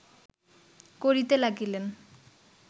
করিতে লাগিলেন